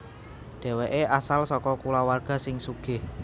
Dhèwèké asal saka kulawarga sing sugih